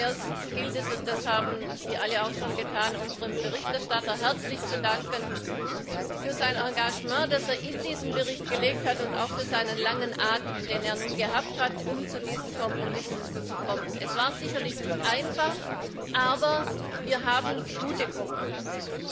Zu allererst gilt es und das haben Sie auch alle schon getan unserem Berichterstatter herzlich für sein Engagement zu danken, das er in diesen Bericht gelegt hat und auch für seinen langen Atem, den er gehabt hat, um zu diesen Kompromissen zu gelangen. Es war sicherlich nicht einfach, aber wir haben gute Kompromisse.